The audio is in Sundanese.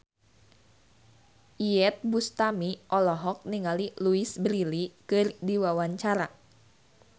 Iyeth Bustami olohok ningali Louise Brealey keur diwawancara